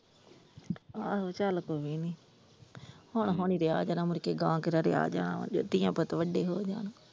ਆਹੋ ਚੱਲ ਕੋਈ ਨੀ, ਹੁਣ ਹੁਣ ਹੀ ਰਿਹਾ ਜਾਣਾ ਮੁੜਕੇ ਗਾਹ ਕਿਹੜਾ ਰਿਹਾ ਜਾਣਾ ਵਾ ਜਦੋਂ ਧੀਆਂ ਪੁੱਤ ਵੱਡੇ ਹੋ ਜਾਣ।